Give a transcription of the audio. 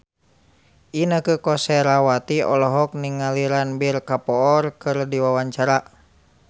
Inneke Koesherawati olohok ningali Ranbir Kapoor keur diwawancara